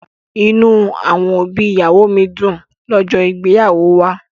Inú àwọn òbí ìyàwó mi dùn lọ́jọ́ ìgbéyàwó wa.